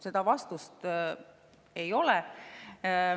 Seda vastust ei ole.